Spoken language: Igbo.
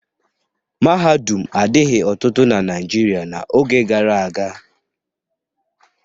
Mahadum adighị ọtụtụ na Naịjirịa n'oge gara aga.